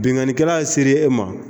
Binnkannikɛla sere e ma